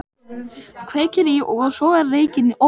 Kveikir í og sogar reykinn ofan í sig.